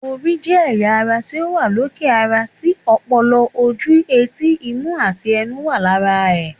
Orí jẹ́ ẹ̀yà ara ti ó wà lókè ara tí, ọpọlọ, ojú, etí, imú àti ẹnu wà lára ẹ̀